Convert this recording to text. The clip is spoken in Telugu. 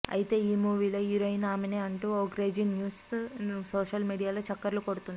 ఐతే ఈ మూవీలో హీరోయిన్ ఆమెనే అంటూ ఓ క్రేజీ న్యూస్ సోషల్ మీడియాలో చక్కర్లు కొడుతుంది